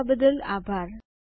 જોડાવા બદ્દલ આભાર